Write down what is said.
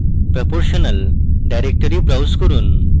proportional directory browse করুন